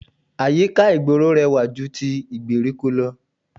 Àyíká ìgboro rẹwà ju ti gbèríko lọ